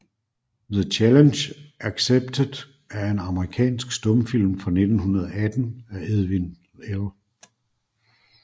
The Challenge Accepted er en amerikansk stumfilm fra 1918 af Edwin L